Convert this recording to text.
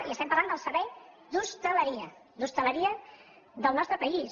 i estem parlant del servei d’hostaleria d’hostaleria del nostre país